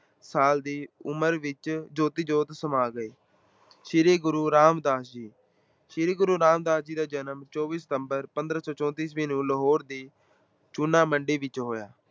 ਸਾਲ ਦੀ ਉਮਰ ਵਿੱਚ ਜੋਤੀ ਜੋਤ ਸਮਾ ਗਏ, ਸ੍ਰੀ ਗੁਰੂ ਰਾਮਦਾਸ ਜੀ-ਸ੍ਰੀ ਗੁਰੂ ਰਾਮਦਾਸ ਜੀ ਦਾ ਜਨਮ ਚੌਵੀ ਸਤੰਬਰ ਪੰਦਰਾਂ ਸੌ ਚੌਂਤੀ ਈਸਵੀ ਨੂੰ ਲਾਹੌਰ ਦੀ ਚੂਨਾਮੰਡੀ ਵਿੱਚ ਹੋਇਆ।